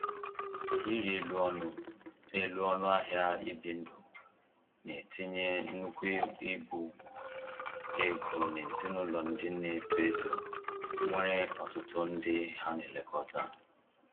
Ịrị elu ọnụ elu ọnụ ahịa ibi ndụ na-etinye nnukwu ibu ego n’ezinụlọ ndị na-eto eto nwere ọtụtụ ndị ha na-elekọta